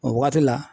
O waati la